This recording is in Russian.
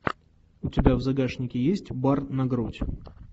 у тебя в загашнике есть бар на грудь